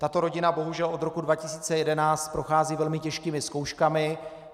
Tato rodina bohužel od roku 2011 prochází velmi těžkými zkouškami.